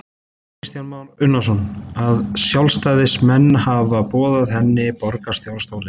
Kristján Már Unnarsson: Að sjálfstæðismenn hafi boðið henni borgarstjórastólinn?